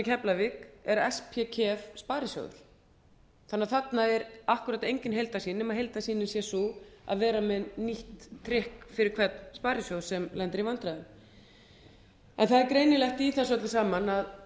keflavík er ég sparisjóður þannig að þarna er akkúrat engin heildarsýn nema heildarsýnin sé sú að vera með nýtt trikk fyrir hvern sparisjóð sem lendir í vandræðum en það er greinilegt í þessu öllu